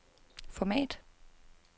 format